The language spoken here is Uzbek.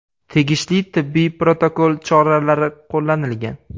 Tegishli tibbiy protokol choralari qo‘llanilgan.